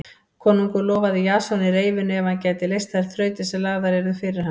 Konungur lofaði Jasoni reyfinu ef hann gæti leyst þær þrautir sem lagðar yrðu fyrir hann.